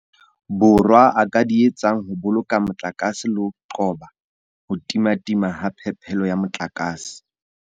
Borwa a ka di etsang ho boloka motlakase le ho qoba ho timatima ha phepelo ya motlakase.